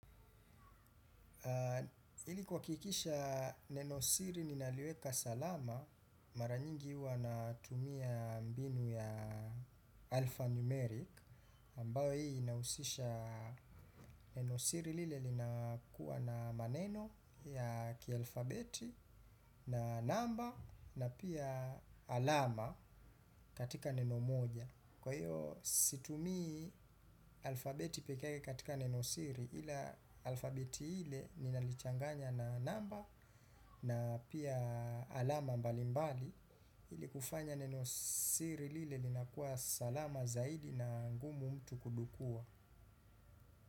Ilikuwa kuhakikisha nenosiri ninaliweka salama mara nyingi huwa natumia mbinu ya alphanumeric ambayo hii inahusisha nenosiri lile linakuwa na maneno ya kialfabeti na namba na pia alama katika neno moja. Kwa hiyo situmi alfabeti peke yake katika nenosiri ila alfabeti ile ninalichanganya na namba na pia alama mbalimbali ili kufanya nenosiri lile linakuwa salama zaidi na ngumu mtu kudukua.